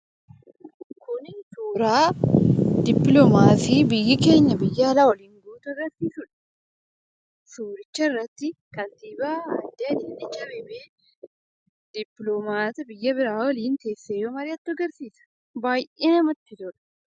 Kuni, suuraa dippiloomaasii biyyi keenya, biyya alaa waliin gootu agarsiisudha. Suuricha irratti kantiibaa Adaanech Abeebee dippiloomaasii biyya biraa waliin teessee mari'attu agarsiisa. Baayyee namatti tola.